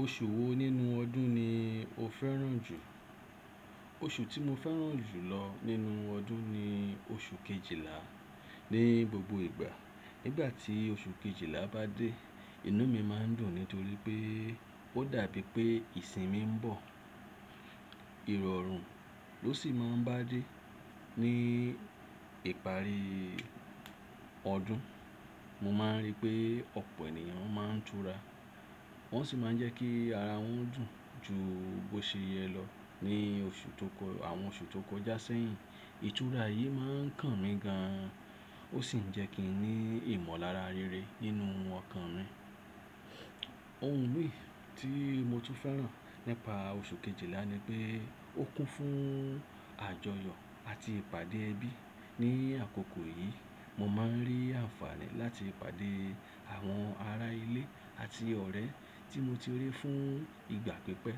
Oṣù wo nínú ọdún ni o fẹ́ràn jù? Oṣù tí mo fẹ́ràn jù lọ nínú ọdún ni oṣù kejìlá. Ni gbogbo ìgbà nígbà tí oṣù kejìlá bá dé, inú mi máa ń dùn nítorí pé ó dàbí pé ìsinmi ń bọ̀. Ìrọ̀rùn ló sì máa ń bá dé ní ìparí ọdún. Mo máa ń rí pé ọ̀pọ̀ ènìyàn máa ń tura, wọ́n sì máa ń jẹ́ kí ara wọn dùn ju bó ṣe yẹ lọ ní oṣù tó kọ, àwọn oṣù tó kọjá sẹ́yìn. Ìtura yìí máa ń kàn mí gan an, ó sì ń jẹ́ kí n ní ìmọ̀lára rere nínú ọkàn mi. Ohun mi tí mo tún fẹ́ràn nípa oṣù kejìlá ni pé ó kún fún àjọyọ̀ àti ìpàdé ẹbí. Ni àkókò yìí mo máa ń rí àǹfààní láti pàdé àwọn ará ilé àti ọ̀rẹ́ tí mo ti rí fún ìgbà pípẹ́.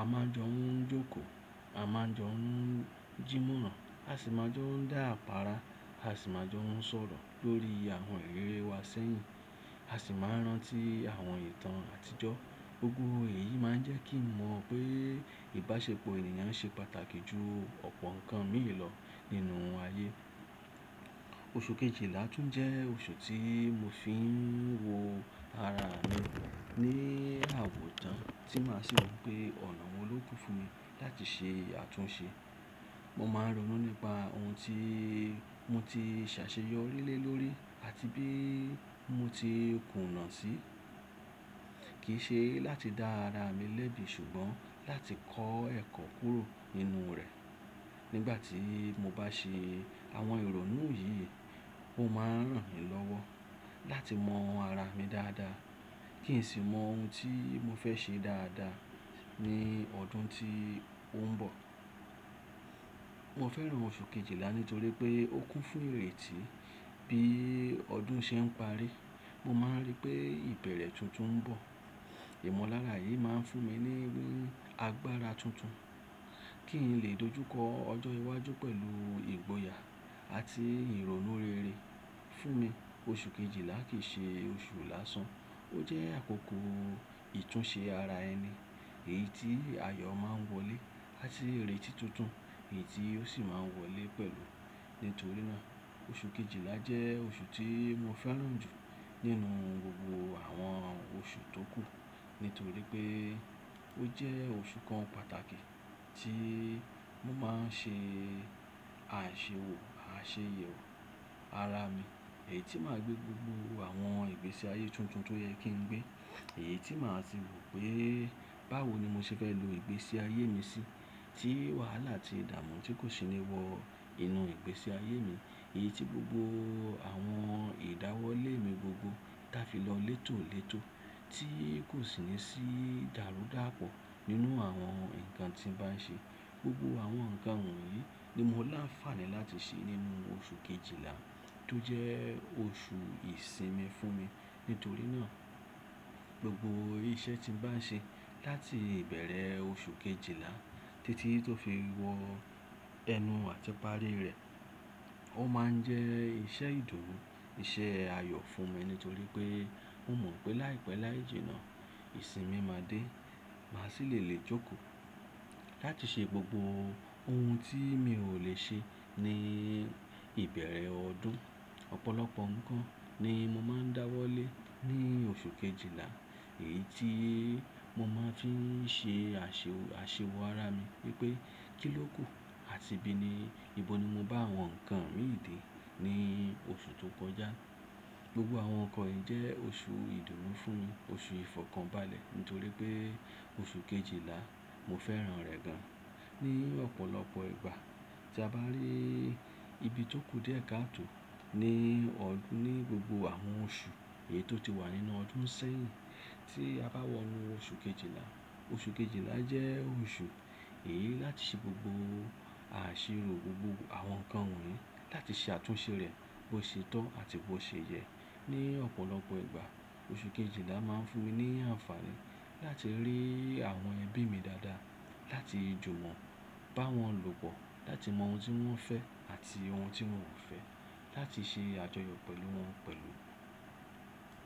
A máa jọ ń jókòó, a máa jọ ń jí múràn, a sì máa jọ ń dá àpára, a sì máa jọ ń sọ̀rọ̀ lórí àwọn iriri wa sẹ́yìn, a sì máa rántí àwọn ìtàn àtijọ́. Gbogbo èyí máa ń jẹ́ kí n mọ̀ pé ìbáṣepọ̀ ènìyàn ṣe pàtàkì ju ọ̀pọ̀ nǹkan míì lọ nínú ayé. Oṣù kejìlá tún jẹ́ oṣù tí mo fi ń wo ara mi ní àwòtan tí màá sì wipé ọ̀nà wo ló kú fún mi láti ṣe àtúnṣe. Mo máa ń ronú nípa ohun tí mo ti ṣàṣeyọrí lé lórí àti bí mo ti kùnà sí. Kì í ṣe láti dá ara mi lẹ́bi ṣùgbọ́n láti kọ ẹ́ kọ́ kúrò nínú rẹ̀. Nígbà tí mo bá ṣe àwọn ìrònú yìí, ó máa ń ràn mí lọ́wọ́ láti mọ ara mi dáadáa kì í sì mọ ohun tí mo fẹ́ ṣe dáadáa ní ọdún tí ó ń bọ̀. Mo fẹ́ràn oṣù kejìlá nítorí pé ó kún fún ìrètí. Bí ọdún ṣe ń parí, mo máa ń rí pé ìbẹ̀rẹ̀ tuntun ń bọ̀. Ìmọ̀lára yìí máa ń fún mi ní agbára tuntun kí n lè dojúkọ ọjọ́ iwájú pẹ̀lú ìgboyà àti ìrònú rere. Fún mi, oṣù kejìlá kì í ṣe oṣù lásán, ó jẹ́ àkókò ìtúnṣe ara ẹni, èyí tí ayọ̀ máa ń wọlé àti ìrètí tuntun èyí tí ó sì máa ń wọlé pẹ̀lú. Nítorí náà oṣù kejìlá jẹ́ oṣù tí mo fẹ́ràn jù nínú gbogbo àwọn oṣù tó kù nítorí pé ó jẹ́ oṣù kan pàtàkì tí mo máa ń ṣe àṣiwo aseyewo ara mi, èyí tí màá gbé gbogbo àwọn ìgbésí ayé tuntun tó yẹ kí n gbé, èyí tí màá sì rò pé báwo ni mo ṣe fẹ́ lo ìgbésí ayé mi sí, tí wàhálà àti ìdààmú tí kò sì ní wọ inú ìgbésí ayé mi, èyí tí gbogbo àwọn ìdáwọ́lé mi gbogbo dá fi lọ létòlétò, tí kò sì ní sí dàrúdàpọ̀ nínú àwọn nǹkan tí mo bá ń ṣe. Gbogbo àwọn nǹkan wọ̀nyí ni mo láǹfààní láti ṣe nínú oṣù kejìlá tó jẹ́ oṣù ìsinmi fún mi. Nítorí náà gbogbo iṣẹ́ tí mo bá ń ṣe láti ìbẹ̀rẹ̀ oṣù kejìlá títí tó fi wọ ẹnu àti parí rẹ̀ ó máa ń jẹ́ iṣẹ́ ìdúró, iṣẹ́ ayọ̀ fún mi nítorí pé mo mọ̀ pé láìpẹ́ láìjìnà ìsinmi máa dé, màá sì lè lè jókòó láti ṣe gbogbo ohun tí mi ò lè ṣe ní ìbẹ̀rẹ̀ ọdún. Ọ̀pọ̀lọpọ̀ nǹkan ni mo máa ń dáwọ́lé ní oṣù kejìlá, èyí tí mo máa ń fi ṣe ase àṣewò ara mi wípé kíló kù àti bí ni, ibo ni mo bá àwọn nǹkan mi dè ní oṣù tó kọjá. Gbogbo àwọn nǹkan yìí jẹ́ oṣù ìdúró fún oṣù ìfọ̀kànbalẹ̀ nítorí pé oṣù kejìlá mo fẹ́ràn rẹ̀ gan. Pe ọ̀pọ̀lọpọ̀ ìgbà tí a bá rí ibi tó kù díẹ̀ káàtò ní ọdún, ní gbogbo àwọn oṣù èyí tó ti wà nínú ọdún sẹ́yìn tí a bá wọnú oṣù kejìlá, oṣù kejìlá jẹ́ oṣù èyí láti ṣe gbogbo àṣírò gbogbo àwọn nǹkan wọ̀nyí láti ṣe àtúnṣe rẹ̀ bó ṣe tó àti bó ṣe yẹ. Ni ọ̀pọ̀lọpọ̀ ìgbà oṣù kejìlá máa ń fún mi ní àǹfààní láti rí àwọn ẹbí mi dáadáa, láti jó wọn, bá wọn lòpọ̀, láti mọ ohun tí wọ́n fẹ́ àti ohun tí wọ́n ò fẹ́, láti ṣe àjọyọ̀ pẹ̀lú wọn pẹ̀lú.